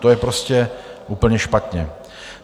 To je prostě úplně špatně.